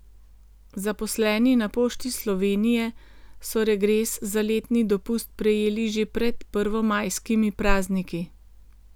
Zaposleni na Pošti Slovenije so regres za letni dopust prejeli že pred prvomajskimi prazniki.